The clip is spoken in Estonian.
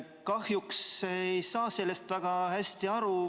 Kahjuks ei saa sellest väga hästi aru.